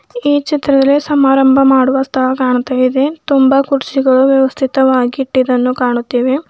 ಈ ಚಿತ್ರದಲ್ಲಿ ಸಮಾರಂಭ ಮಾಡುವ ಸ್ಥಳ ಕಾಣ್ತಾ ಇದೆ ತುಂಬಾ ಕುರ್ಚಿಗಳು ವ್ಯವಸ್ಥಿತವಾಗಿ ಇಟ್ಟಿರುವುದನ್ನು ಕಾಣಿಸ್ತಾ ಇದೆ.